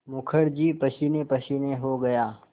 मुखर्जी पसीनेपसीने हो गया